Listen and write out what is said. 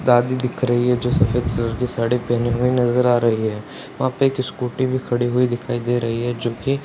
दादी दिख रही है जो सफेद कलर की साड़ी पहने हुए नजर आ रही है वहाँ पे स्कूटी भी खड़ी हुई दिखाई दे रही है जो की --